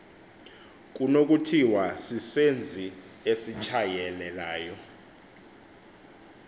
kunokuthiwa sisenzi esitshayelelayo